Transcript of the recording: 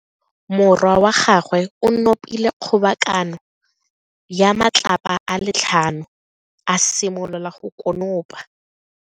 Morwa wa gagwe o nopile kgobakano ya matlapa a le tlhano, a simolola go konopa.